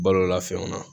Balola fɛnw na